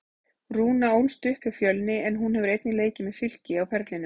Rúna ólst upp hjá Fjölni en hún hefur einnig leikið með Fylki á ferlinum.